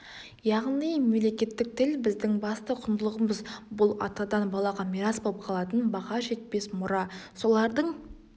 яғни мемлекеттік тіл біздің басты құндылығымыз бұл атадан балаға мирас болып қалатын баға жетпес мұра солардың